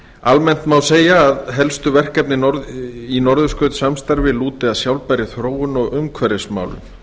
almennt má segja að helstu verkefni í norðurskautssamstarfi lúti að sjálfbærri þróun og umhverfismálum